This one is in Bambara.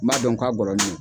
N b'a dɔn k'a ngɔlɔnen don.